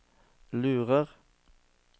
lurer